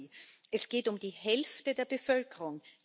Ich mahne Sie. Es geht um die Hälfte der Bevölkerung!